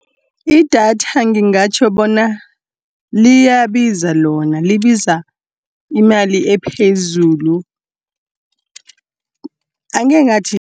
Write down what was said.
Idatha ngingatjho bona liyabiza lona, libiza imali ephezulu. Angekhe ngathi